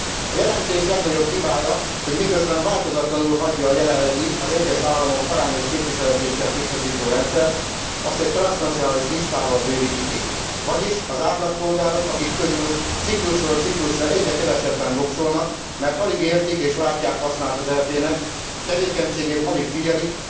A jelentés legnagyobb hibája, hogy miközben változatlanul hagyja a jelenlegi, az egyes államok arányos képviseletét sem biztosító rendszert, azt egy transznacionális listával bővíti ki, vagyis az átlagpolgárok, akik közül ciklusról ciklusra egyre kevesebben voksolnak, mert alig értik és látják hasznát az EP nek, tevékenységét alig figyelik,